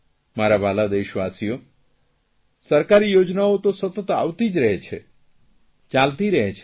મારા વ્હાલા દેશવાસીઓ સરકારીયોજનાઓ ત સતત આવતી જ રહે છે ચાલતી રહે છે